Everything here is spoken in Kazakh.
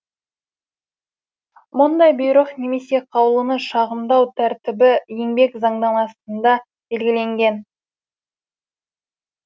мұндай бұйрық немесе қаулыны шағымдау тәртібі еңбек заңнамасында белгіленген